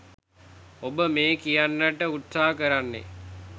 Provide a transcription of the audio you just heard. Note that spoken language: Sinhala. ඔබ මේ කියන්නට උත්සාහ කරන්නේ